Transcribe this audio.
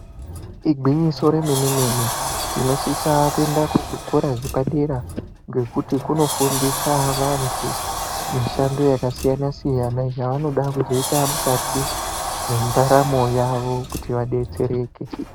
Igwinyiso remene-mene, tinosisa kuenda kuzvikora zvepadera ngekuti kunofundisa vantu mishando yakasiyana-siyana, yaanoda kuzoita mukati mendaramo yavo kuti vabetsereke.